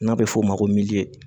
N'a bɛ f'o ma ko